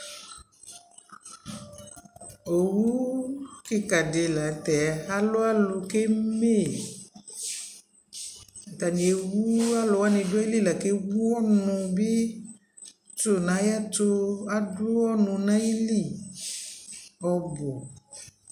ɔwʋ kikaa di lantʒ alʋ alʋ kʋ ɛmɛ yi, atani ɛwʋ alʋ wani nʋ ayili lakʋ atani ɛwʋ ɔnʋ bi tʋ nʋ ayɛtʋ, adʋ ɔnʋ nʋ ayili ɔbʋ